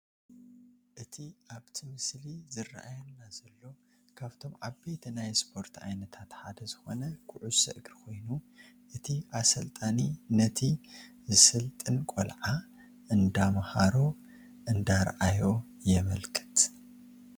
እቲ ኣብቲ ምስሊ ዝራኣየና ዘሎ ካብቶም ዓበይቲ ናይ ስፖርት ዓይነታት ሓደ ዝኾነ ኩዕሶ እግሪ ኾይኑ እቲ ኣሰልጣኒ ነቲ ዝስልጥን ቆልዓ እንዳምሃሮ/እንዳኣርኣዮ የመልክት፡፡